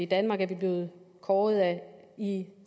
danmark er blevet kåret i the